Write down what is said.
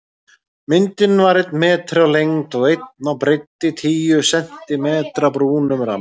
Myndin var einn metri á lengd og einn á breidd í tíu sentímetra brúnum ramma.